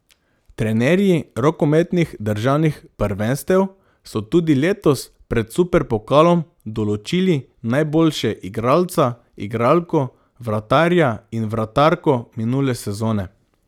Trenerji rokometnih državnih prvenstev so tudi letos pred superpokalom določili najboljše igralca, igralko, vratarja in vratarko minule sezone.